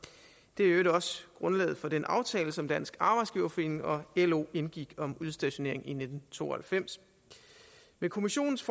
det er i øvrigt også grundlaget for den aftale som dansk arbejdsgiverforening og lo indgik om udstationering i nitten to og halvfems med kommissionens